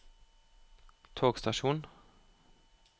togstasjon